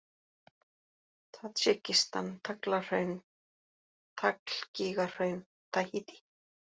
Tadsjikistan, Taglahraun, Taglgígahraun, Tahítí